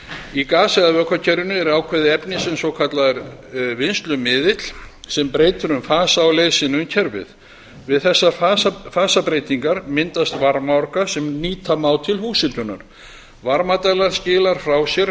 í gas vökvakerfinu er ákveðið efni eða svokallaður vinnslumiðill sem breytir um fasa á leið sinni um kerfið við þessar fasabreytingar myndast varmaorka sem nýta má til húshitunar varmadæla skilar frá sér